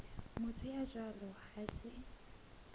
motho ya jwalo ha se